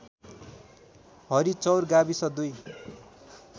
हरिचौर गाविस २